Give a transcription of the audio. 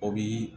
O bi